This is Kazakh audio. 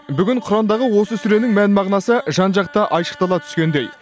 бүгін құрандағы осы сүренің мән мағынасы жан жақты айшықтала түскендей